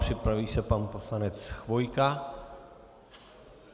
Připraví se pan poslanec Chvojka.